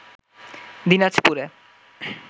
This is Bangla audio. দিনাজপুরে